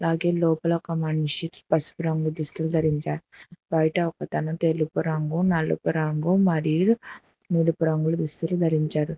అలాగే లోపల ఒక మనిషి పసుపు రంగు దుస్తులు ధరించాడు బయట ఒకతను తెలుపు రంగు నలుపు రంగు మరియు నీలపు రంగుల దుస్తులు ధరించాడు.